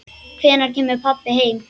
Hvenær kemur pabbi heim?